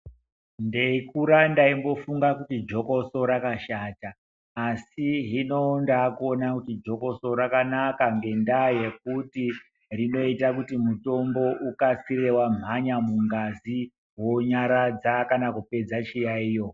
Ndeikura ndaingofunga kuti jokoso rakashata asi hino ndakuona kuti jokoso rakanaka. Ngendaa yekuti rinoita kuti mutombo ukasikire womhanya mungazi wonyaradza kana kupedza chiyaiyo.